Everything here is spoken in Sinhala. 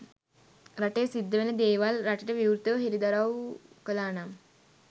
රටේ සිද්ධ වෙන දේවල් රටට විවෘතව හෙළිදරව් කළා නම්